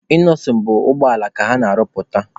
Inọsịn bụ ụgbọala ka ọ na-arụpụta.